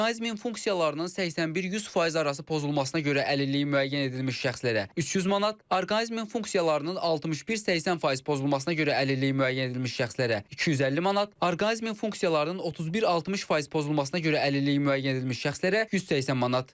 Orqanizmin funksiyalarının 81-100% arası pozulmasına görə əlilliyi müəyyən edilmiş şəxslərə 300 manat, orqanizmin funksiyalarının 61-80% pozulmasına görə əlilliyi müəyyən edilmiş şəxslərə 250 manat, orqanizmin funksiyalarının 31-60% pozulmasına görə əlilliyi müəyyən edilmiş şəxslərə 180 manat.